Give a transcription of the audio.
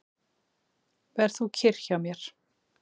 Ver þú kyrr hjá mér.